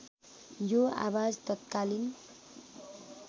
यो आवाज तत्कालीन